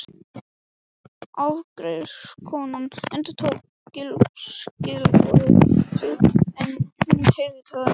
Afgreiðslukonan endurtók gylliboð sitt en hún heyrði það ekki.